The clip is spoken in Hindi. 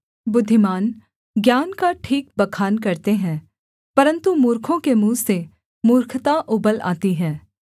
बुद्धिमान ज्ञान का ठीक बखान करते हैं परन्तु मूर्खों के मुँह से मूर्खता उबल आती है